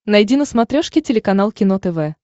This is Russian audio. найди на смотрешке телеканал кино тв